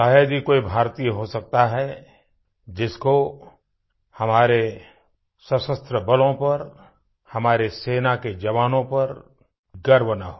शायद ही कोई भारतीय हो सकता है जिसको हमारे सशस्त्र बलों पर हमारे सेना के जवानों पर गर्व न हो